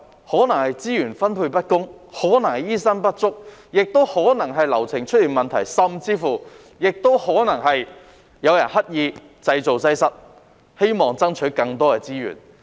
可能是資源分配不公，可能是醫生不足，也可能是流程出現問題，甚至可能是有人刻意製造擠塞，希望爭取更多資源。